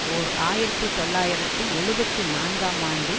ஓர் ஆயிரத்தி தொள்ளாயிரத்தி எழுபத்தி நான்காம் ஆண்டு